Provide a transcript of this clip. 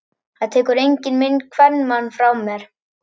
Það tekur enginn minn kvenmann frá mér!